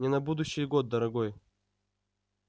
не на будущий год дорогой